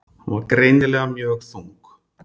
Hún var greinilega mjög þung.